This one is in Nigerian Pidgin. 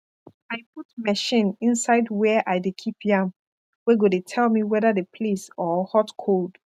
i put machine inside where i de keep yam wey go dey tell me wether the place or hot cold